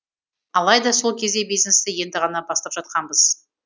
алайда сол кезде бизнесті енді ғана бастап жатқанбыз